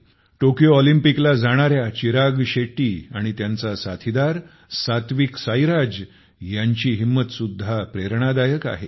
Tokyo ऑलिम्पिकला जाणाऱ्या चिराग शेट्टी आणि त्यांचा साथीदार सात्विक साईराज ह्यांची हिंमत पण प्रेरणादायक आहे